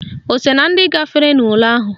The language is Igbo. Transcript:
O so na ndị gafere n'ule ahụ?